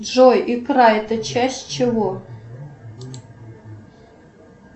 джой икра это часть чего